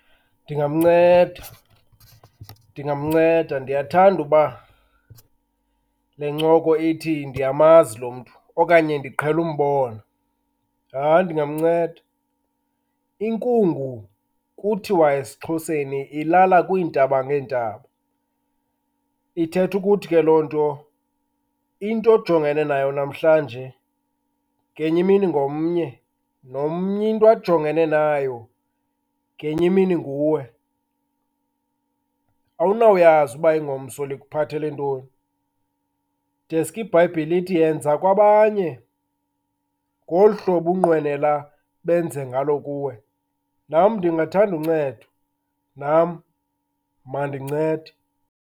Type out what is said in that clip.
Ndingamnceda ndingamnceda. Ndiyathanda uba le ncoko ithi ndiyamazi lo mntu okanye ndiqhele umbona. Hayi, ndingamnceda. Inkungu kuthiwa esiXhoseni ilala kwiintaba ngeentaba. Ithetha ukuthi ke loo nto, into ojongeneyo nayo namhlanje ngenye imini ngomnye. Nomnye into ajongene nayo, ngenye imini nguwe. Awunawuyazi uba ingomso likuphathele ntoni deske iBhayibhile ithi, yenza kwabanye ngolu hlobo unqwenela benze ngalo kuwe. Nam ndingathanda uncedwa, nam mandincede.